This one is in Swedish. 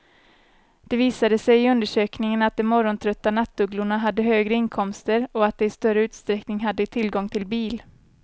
Det visade sig i undersökningen att de morgontrötta nattugglorna hade högre inkomster och att de i större utsträckning hade tillgång till bil.